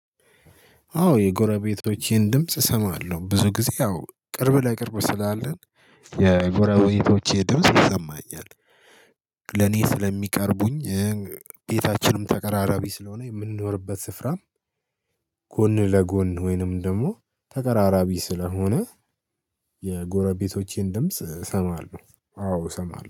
አዎ የጎረ ቤቶቼን ድምጽ እሰማለሁ ብዙ ጊዜ አዎ ቅርብ ለ ቅርብ ስላለን የጎረቤቶቼ ድምጽ ይሰማኛል። ለኔ ስለሚቀርቡኝ። ቤታችንም ተቀራራቢ ስለሆነ የምንኖርበት ስፍራም። ጎን ለጎን ወይንም ደግሞ ተቀራራቢ ስለሆነ። የጎረቤቶቼን ድምጽ እሰማለሁ አዎ እሰማለሁ